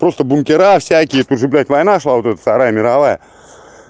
просто бункера всякие тут же блять война шла вот эта вторая мировая